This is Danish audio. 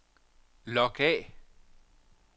log af